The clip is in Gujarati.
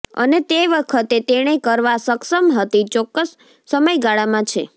અને તે વખતે તેણે કરવા સક્ષમ હતી ચોક્કસ સમયગાળામાં છે